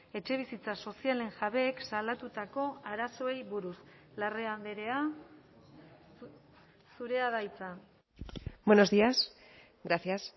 etxebizitza sozialen jabeek salatutako arazoei buruz larrea andrea zurea da hitza buenos días gracias